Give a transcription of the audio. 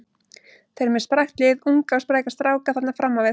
Þeir eru með sprækt lið, unga og spræka stráka þarna fram á við.